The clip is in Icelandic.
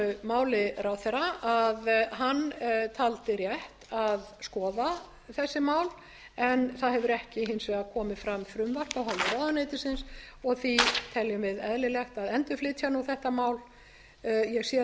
máli ráðherra að hann taldi rétt að skoða þessi mál en það hefur ekki hins vegar komið fram frumvarp af hálfu ráðuneytisins og því tel ég eðlilegt að endurflytja nú þetta mál ég